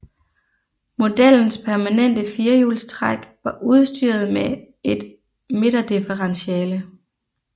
Modellens permanente firehjulstræk var udstyret med et midterdifferentiale